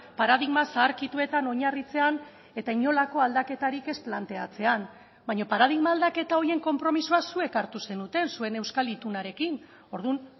paradigma zaharkituetan oinarritzean eta inolako aldaketarik ez planteatzean baina paradigma aldaketa horien konpromisoa zuek hartu zenuten zuen euskal itunarekin orduan